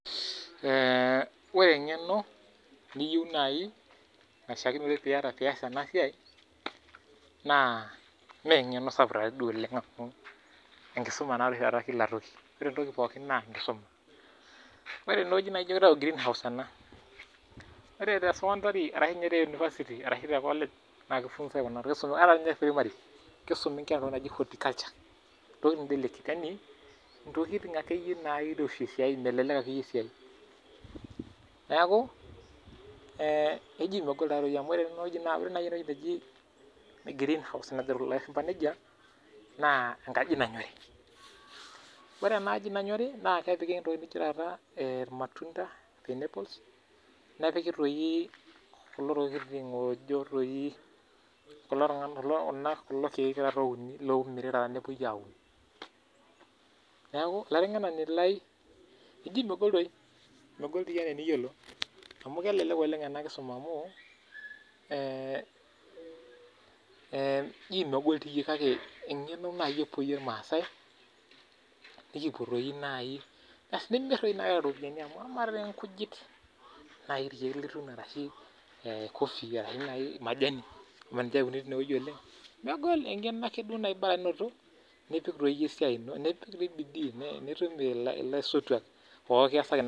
Ore engeno niyieu naaji naishaakinore pee iyas ena siai, naa mengeno naa sapuk oleng amu enkisuma anaadoi ashii taata pookitoki. Ore entoki pookin naa enkisuma. Ore teneweji naa kitayu greenhouse ena .Ore the secondary ashu the university ashu te college ata diin ninye te primary naa kifunsae entoki naji food culture. Yani ntokiting akeyie nairoshi melelek esiai. Neeku megol taadei naaji amu ore eneweji nejo lashumpa green house naa enkaji naanyori. Ore enaaji nanyori naa kepiki tata irmatunda pineapples nepiki doi kulo keek oyai nepuopi aaun. Neeku olaitengenani lai eji megol doi, amu kelelek oleng ena kisuma amu, engeno naaji epoyie irmaasai, asi naa keeta doi ropiyiani amu ama doi nkujit naaji irkeek lituuni ashu coffee ashu majani amu ninche uni tineweji oleng ,neeku megol engeno duo naji borake inoto nipik bidii nipik laisotwak.